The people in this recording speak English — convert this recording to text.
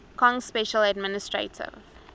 kong special administrative